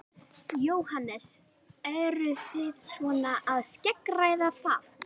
Jóhannes: Eruð þið svona að skeggræða það?